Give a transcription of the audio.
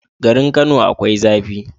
Garin kano akwai zafi